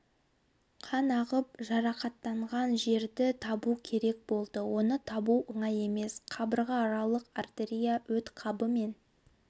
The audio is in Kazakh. қан ағып жатқан жерді табу керек болды оны табу оңай емес қабырғааралық артерия өт қабы мен